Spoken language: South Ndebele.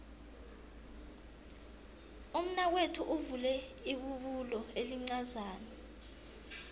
umnakwethu uvule ibubulo elincazana